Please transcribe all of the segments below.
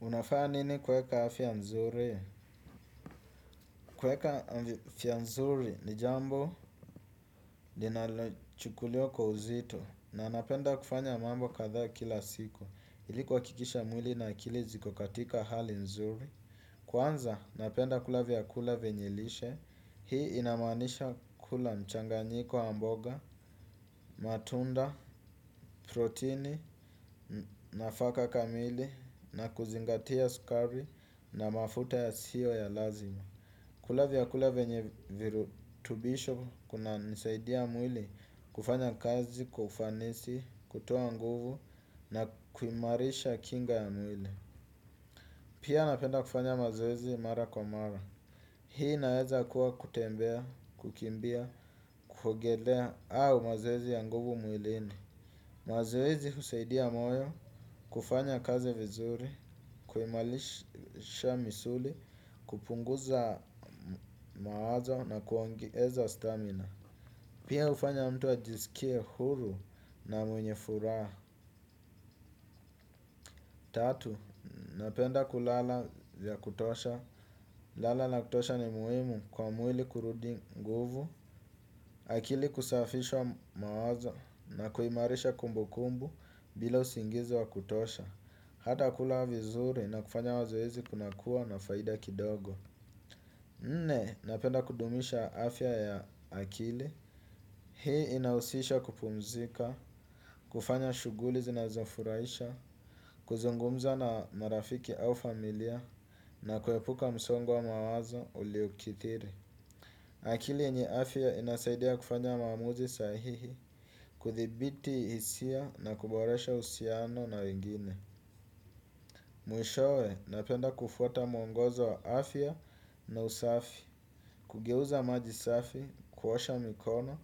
Unafanya nini kuweka afya nzuri? Kuweka afya mzuri ni jambo linalochukuliwa kwa uzito na napenda kufanya mambo kadhaa kila siku. Ili kuhakikisha mwili na akili ziko katika hali nzuri. Kwanza napenda kula vyakula vyenye lishe. Hii inamaanisha kula mchanganyiko wa mboga, matunda, proteni, nafaka kamili na kuzingatia sukari na mafuta yasiyo ya lazima. Kula vyakula venye virutubisho kunasaidia mwili kufanya kazi, kww ufanisi, kutoa nguvu na kuimarisha kinga ya mwili. Pia napenda kufanya mazoezi mara kwa mara. Hii inaweza kuwa kutembea, kukimbia, kuogelea au mazoezi ya nguvu mwilini. Mwaziwezi husaidia moyo kufanya kazi vizuri, kuimarisha misuli, kupunguza mawazo na kuongeza stamina. Pia hufanya mtu ajisikie huru na mwenye furaha. Tatu, napenda kulala ya kutosha. Kulala ya kutosha ni muhimu kwa mwili kurudi nguvu. Akili kusafisha mawazo na kuimarisha kumbu kumbu bila usingizi wa kutosha. Hata kula vizuri na kufanya mazoezi kunakuwa na faida kidogo. Nne, napenda kudumisha afya ya akili. Hii inahusisha kupumzika, kufanya shughuli zinazofurahisha, kuzungumza na marafiki au familia, na kuepuka msongo wa mawazo uliukithiri. Akili yenye afya inasaidia kufanya maamuzi sahihi, kuthibiti hisia na kuboresha uhusiano na wengine. Mwishowe napenda kufwata mwongozo wa afya na usafi, kugeuza majisafi, kuosha mikono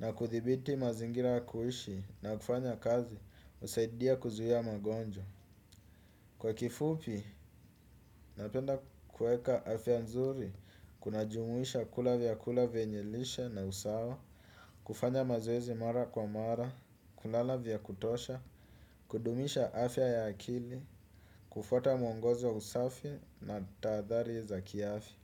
na kuthibiti mazingira ya kuishi na kufanya kazi husaidia kuzuia magonjwa. Kwa kifupi, napenda kuweka afya nzuri, kujumuisha kula vyakula venye lishe na usawa, kufanya mazoezi mara kwa mara, kulala vya kutosha, kudumisha afya ya akili, kufwata mwongozi wa usafi na tahadhari za kiafya.